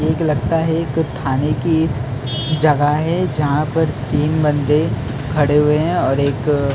एक लगता है एक थाने की जगह है जहाँ पर तीन बंदे खड़े हुए है और एक--